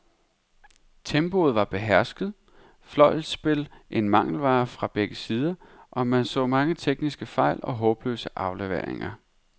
Tempoet var behersket, fløjspil en mangelvare fra begge sider, og man så mange tekniske fejl og håbløse afleveringer.